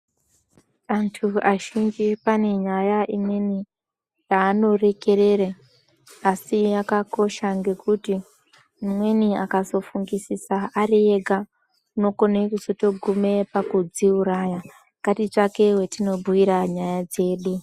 Antu azhinji pane nyaya imweni yaanorekerere asi yakakosha ngekuti umweni akazofungisisa ari ega unokone kuzotogume pakudziuraya .Ngatitsvake wetinobhuyira nyaya dzedu .